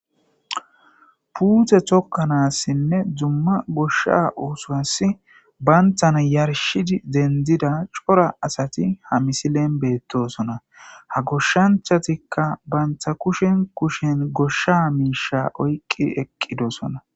puute tokkanassinne dumma goshsha usoas banthan yarshidi dendida cora asati ha misilen beettosona ha goshshanchatikka bantha kushen kushen goshsha miisha oyqqi eqqidosona